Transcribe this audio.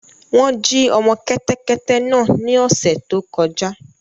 Wọn jí ọmọ kẹtẹkẹtẹ náà ni ọṣẹ tó kọ̀jà